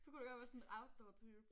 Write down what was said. Du kunne da godt være sådan en outdoor type